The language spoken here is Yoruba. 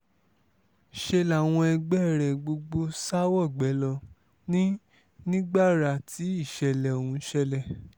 ṣe làwọn ẹgbẹ́ rẹ̀ gbogbo sá wọgbé ló ní ní gbàrà tí ìṣẹ̀lẹ̀ ọ̀hún ṣẹlẹ̀